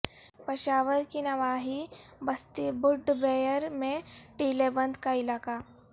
پشاور کی نواحی بستی بڈھ بیر میں ٹیلہ بند کا علاقہ